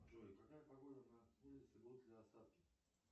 джой какая погода на улице будут ли осадки